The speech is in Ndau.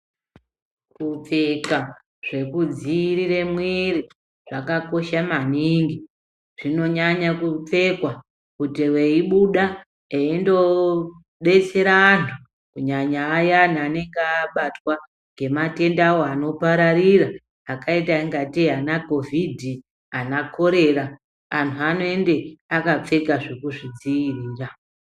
Kupfeka zvekudziirire mwiri, zvakakosha maningi. Zvinonyanya kupfekwa kuti veibuda eindo detsera antu, kunyanya ayani anenga abatwa nge matenda awo anopararira, akaita ingatei anakhovhidhi, ana kholera ,anhu anoende akapfeka zvekuzvidziirira.